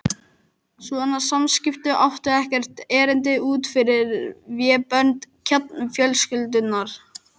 Svona samskipti áttu ekkert erindi út fyrir vébönd kjarnafjölskyldunnar.